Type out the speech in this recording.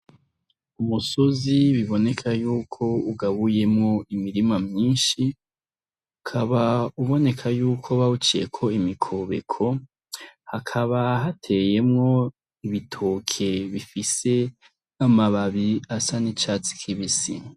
Umusozi biboneka yuko ugabuyemwo imirima myinshi ukaba uboneka yuko bawuciyeko imikobeko hakaba hateyemwo ibitoke bifise amababi asa n'icatsi kibisi.